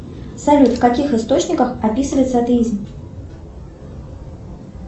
салют в каких источниках описывается атеизм